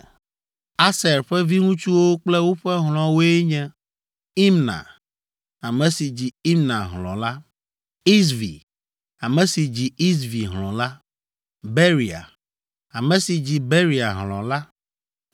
Aser ƒe viŋutsuwo kple woƒe hlɔ̃woe nye: Imna, ame si dzi Imna hlɔ̃ la, Isvi, ame si dzi Isvi hlɔ̃ la, Beria, ame si dzi Beria hlɔ̃ la.